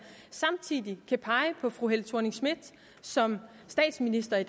samtidig kan pege på fru helle thorning schmidt som statsminister i